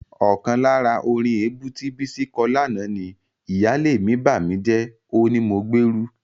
Ọkàn lára orin èébú tí Bísí kọ lánàá ni: "Ìyáálé mi bàmíjẹ́, ó ní mo gbérú..."